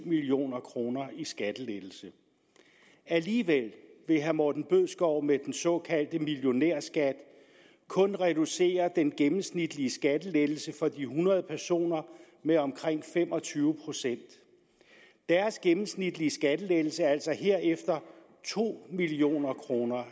million kroner i skattelettelse alligevel vil herre morten bødskov med den såkaldte millionærskat kun reducere den gennemsnitlige skattelettelse for de hundrede personer med omkring fem og tyve procent deres gennemsnitlige skattelettelse er altså herefter to million kroner